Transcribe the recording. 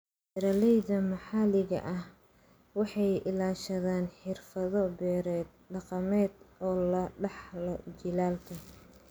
Beeralayda maxalliga ahi waxay ilaashadaan xirfado-beereed dhaqameed oo laga dhaxlo jiilalka.